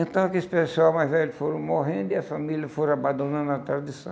Então aqueles pessoal mais velhos foram morrendo e a família foram abandonando a tradição.